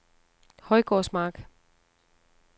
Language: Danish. Højgårdsmark